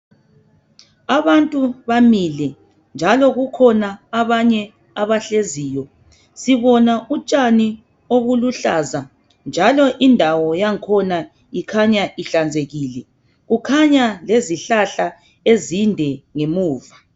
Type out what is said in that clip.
Abantu bamile njalo kukhona abanye abahleziyo sibona utshani obuluhlaza njalo indawo yangkhona ikhanya ihlanzekile kukhanya lezihlahla ezinde ngemuva.